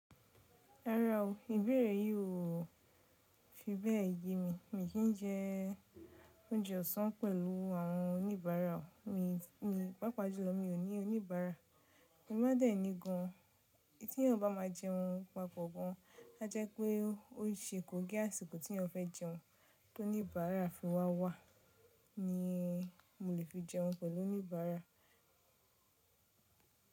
Rárá o. Ìbéèrè yìí o fi bẹ́ẹ̀ yé mi. Mi ò kì n jẹ oúnjẹ ọ̀sán pẹ̀lú àwọn oníbàárà. Mi, mi, pàápàá jùlọ mi ò ní oníbàárà. Tí n bá dẹ̀ ní gan, èyí tí eẹyan bá má a jẹun papọ̀ gan, a jẹ́ pé ó ṣe kòn gé àsìkò tí ẹeyan fẹ́ jẹun tó níbára fi wá wá ni mo lè fi jẹun pẹ̀lú oníbàárà.